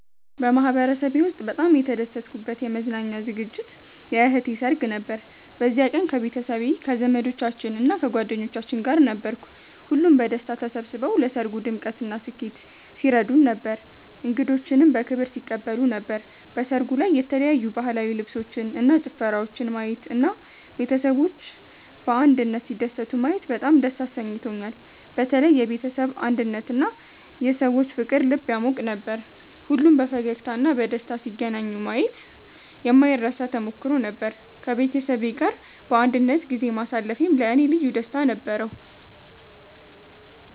በማህበረሰቤ ውስጥ በጣም የተደሰትኩበት የመዝናኛ ዝግጅት የእህቴ ሰርግ ነበር። በዚያ ቀን ከቤተሰቤ፣ ከዘመዶቻችን እና ከጓደኞቻችን ጋር ነበርኩ። ሁሉም በደስታ ተሰብስበው ለሰርጉ ድምቀትና ስኬት ሲረዱን ነበር፣ እንግዶችንም በክብር ሲቀበሉ ነበር። በሰርጉ ላይ የተለያዩ ባህላዊ ልብሶችን እና ጭፈራወችን ማየት እና ቤተሰቦች በአንድነት ሲደሰቱ ማየት በጣም ደስ አሰኝቶኛል። በተለይ የቤተሰብ አንድነትና የሰዎች ፍቅር ልብ ያሟቅ ነበር። ሁሉም በፈገግታ እና በደስታ ሲገናኙ ማየት የማይረሳ ተሞክሮ ነበር። ከቤተሰቤ ጋር በአንድነት ጊዜ ማሳለፌም ለእኔ ልዩ ደስታ ነበረው።